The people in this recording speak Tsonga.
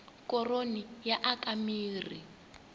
koroni yi aka mirhi